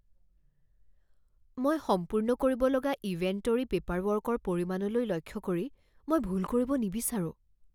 মই সম্পূৰ্ণ কৰিব লগা ইনভেণ্টৰী পেপাৰৱৰ্কৰ পৰিমাণলৈ লক্ষ্য কৰি মই ভুল কৰিব নিবিচাৰোঁ।